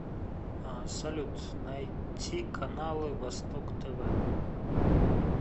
салют найти каналы восток тв